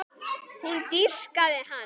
Hún dýrkaði hann.